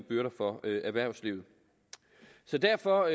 byrder for erhvervslivet derfor